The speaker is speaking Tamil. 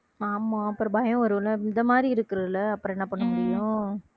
ஆமாம் அப்புறம் பயம் வரும்ல இந்த மாதிரி இருக்கிறதுல அப்புறம் என்ன பண்ண முடியும்